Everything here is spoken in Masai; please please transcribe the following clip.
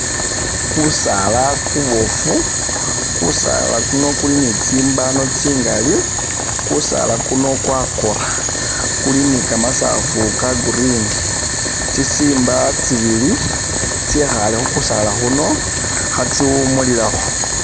Kusaala kubofu, kusaala kuno kuli ni tsimbano tsingali, kusaala kuno kwakora, kuli ni kamasaafu ka green, tsi simba tsibili tsyekhale khukusaala kuno khatsiwumulilakho.